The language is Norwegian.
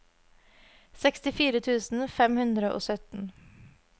sekstifire tusen fem hundre og sytten